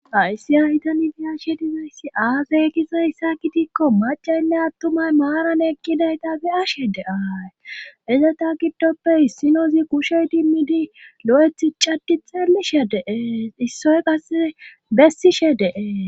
aysi ayitani diyashe dizoyssi aafey gizoysa kitikko macaynne attumay maaran ekkidayta fi ashe de7aay ezeta giddoppe issino zi kushey dimmidi lo7eth cadi txeelishe deeees issoy qase bessishe deee